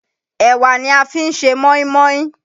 Ẹ̀wà ni a fi ń ṣe mọ́ínmọ́ín.